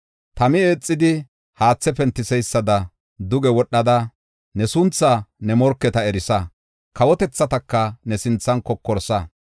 Tami eexidi haathe pentiseysada duge wodhada, ne suntha ne morketa erisa; kawotethataka ne sinthan kokorsa.